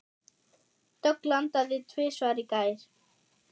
Dögg landaði tvisvar í gær.